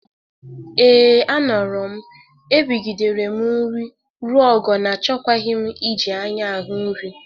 Ee, a nọrọ m. Erigidere m nri ruo ogo na achọkwaghị m iji anya ahụ nri.